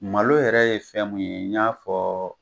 Malo yɛrɛ ye fɛn mun ye n y'a fɔ